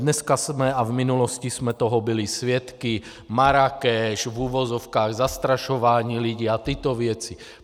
Dneska jsme, a v minulosti jsme toho byli svědky, Marrákeš, v uvozovkách zastrašování lidí a tyto věci.